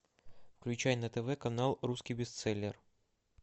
включай на тв канал русский бестселлер